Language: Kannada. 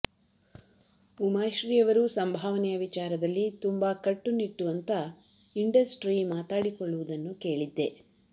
ಉಮಾಶ್ರೀ ಅವರು ಸಂಭಾವನೆಯ ವಿಚಾರದಲ್ಲಿ ತುಂಬಾ ಕಟ್ಟು ನಿಟ್ಟು ಅಂತ ಇಂಡಸ್ಟ್ರೀ ಮಾತಾಡಿಕೊಳ್ಳುವುದನ್ನು ಕೇಳಿದ್ದೆ